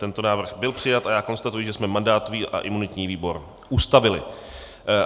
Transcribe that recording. Tento návrh byl přijat a já konstatuji, že jsme mandátový a imunitní výbor ustavili.